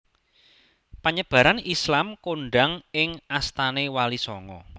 Panyebaran Islam kondhang ing astane Wali Sanga